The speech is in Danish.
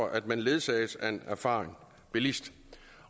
at man ledsages af en erfaren bilist